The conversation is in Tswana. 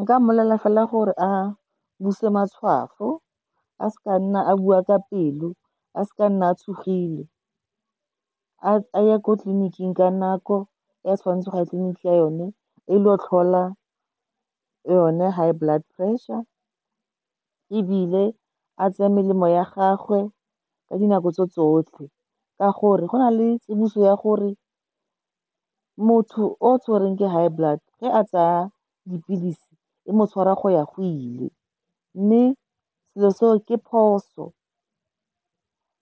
Nka mmolelela fela gore a buse matshwafo, a se ke a nna a bua ka pelo, a seke a nna a tshogile. A ye ko tleliniking ka nako e a tshwanetseng go ya tleliniking yone, a ilo tlhola yone high blood pressure, ebile a tseye melemo ya gagwe ka dinako tso tsotlhe. Ka gore go na le tsiboso ya gore motho o tshwerweng ke high blood, ge a tsaya dipilisi, e mo tshwara a go ya go ile. Mme selo se o ke phoso